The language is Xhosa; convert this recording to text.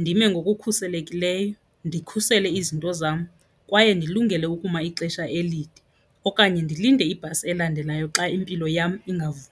ndime ngokukhuselekileyo, ndikhusele izinto zam kwaye ndilungele ukuma ixesha elide. Okanye ndilinde ibhasi elandelayo xa impilo yam ingavumi.